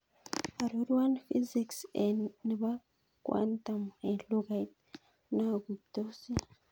Arorwan fiziks nebo quantum en lugait naguitosi